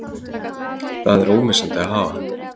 Það er ómissandi að hafa hann